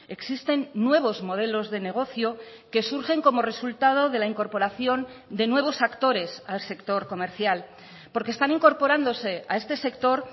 existen nuevos modelos de negocio que surgen como resultado de la incorporación de nuevos actores al sector comercial porque están incorporándose a este sector